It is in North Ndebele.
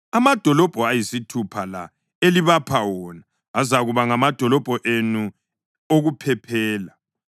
Amadolobho ayisithupha la elibapha wona azakuba ngamadolobho enu okuphephela.